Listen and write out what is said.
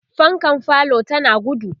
fankan falo tana gudu